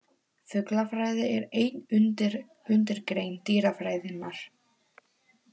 Fuglafræði er ein undirgrein dýrafræðinnar.